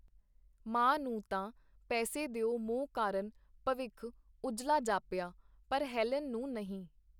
ਮਾਂ ਨੂੰ ਤਾਂ ਪੈਸੇ ਦਿਓ ਮੋਹ ਕਾਰਨ ਭਵਿੱਖ ਉਜਲਾ ਜਾਪਿਆ, ਪਰ ਹੈਲਨ ਨੂੰ ਨਹੀਂ.